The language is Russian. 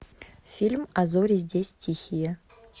фильм а зори здесь тихие